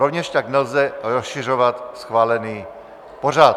Rovněž tak nelze rozšiřovat schválený pořad.